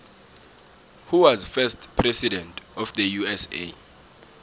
who was first president of the usa